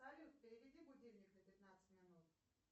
салют переведи будильник на пятнадцать минут